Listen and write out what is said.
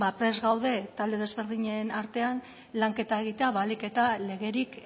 prest gaude talde ezberdinen artean lanketa egitea ahalik eta legerik